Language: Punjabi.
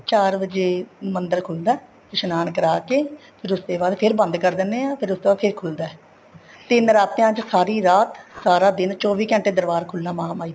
ਚਾਰ ਵਜੇ ਮੰਦਰ ਖੁੱਲਦਾ ਏ ਇਸ਼ਨਾਨ ਕਰਾਕੇ ਫ਼ਿਰ ਉਸ ਤੇ ਬਾਅਦ ਫ਼ਿਰ ਬੰਦ ਕਰ ਦਿੰਨੇ ਹਾਂ ਫ਼ੇਰ ਉਸ ਤੋ ਬਾਅਦ ਫ਼ੇਰ ਖੁੱਲਦਾ ਤੇ ਨਰਾਤਿਆਂ ਚ ਸਾਰੀ ਰਾਤ ਸਾਰਾ ਦਿਨ ਚੋਵੀ ਘੰਟੇ ਦਰਬਾਰ ਖੁੱਲਾ ਮਹਾਮਾਹੀ ਦਾ